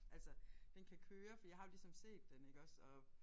Altså den kan køre for jeg har jo ligesom set den iggås og